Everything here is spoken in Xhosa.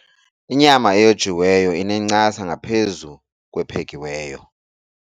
Inyama eyojiweyo inencasa ngaphezu kwephekiweyo.